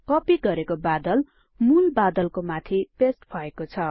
कपि गरेको बादल मूल बादलको माथि पेस्ट भएको छ